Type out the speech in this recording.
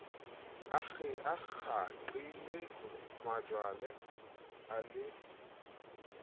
a kgaqile majwala a le